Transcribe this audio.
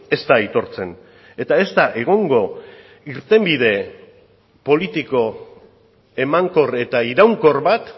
ez da aitortzen eta ez da egongo irtenbide politiko emankor eta iraunkor bat